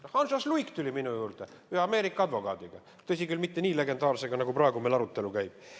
Hans H. Luik tuli minu juurde ühe Ameerika advokaadiga, tõsi küll, mitte nii legendaarsega kui see, kelle ümber meil arutelu praegu käib.